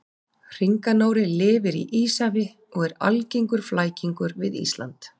hringanóri lifir í íshafi og er algengur flækingur við ísland